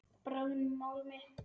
Bráðnum málmi.